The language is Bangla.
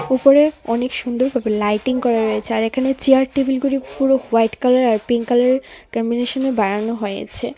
উপরে অনেক সুন্দরভাবে লাইটিং করা রয়েছে আর এখানে চেয়ার টেবিলগুলি পুরো হোয়াইট কালারের আর পিঙ্ক কালারের কম্বিনেশনে বানানো হয়েছে .